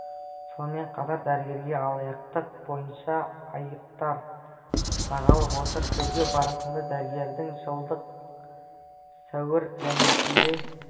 сонымен қатар дәрігерге алаяқтық бойынша айыптар тағылып отыр тергеу барысында дәрігердің жылдың сәуір және шілде